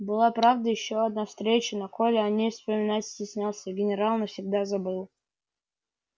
была правда ещё одна встреча но коля о ней вспоминать стеснялся а генерал навсегда забыл